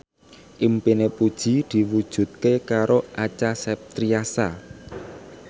impine Puji diwujudke karo Acha Septriasa